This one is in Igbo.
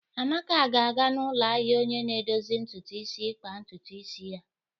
Amaka ga-aga n'ụlọ ahịa onye na-edozi ntutu isi ikpa ntutu isi ya.